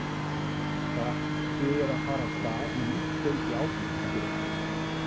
Þið er að fara af stað með nýtt hlaup í ágúst ekki rétt?